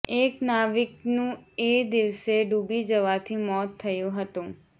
એક નાવીકનું એ દિવસે ડૂબી જવાથી મોત થયું હતું